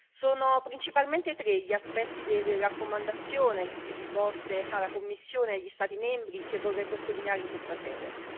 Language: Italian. Sono principalmente tre gli aspetti delle raccomandazioni rivolte alla Commissione e agli Stati membri che vorrei sottolineare in questa sede.